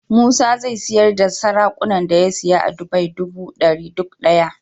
Musa zai siyar da saraƙunan da ya siya a dubai duba dari duk daya